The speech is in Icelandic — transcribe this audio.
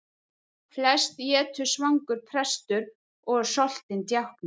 Flest étur svangur prestur og soltinn djákni.